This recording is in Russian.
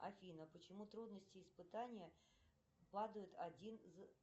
афина почему трудности испытания падают один за